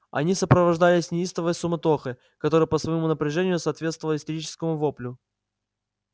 они сопровождались неистовой суматохой которая по своему напряжению соответствовала истерическому воплю